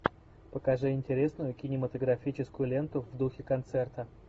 покажи интересную кинематографическую ленту в духе концерта